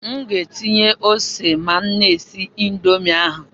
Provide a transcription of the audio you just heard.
M ga-etinye ose ma m na-esi Indomi ahụ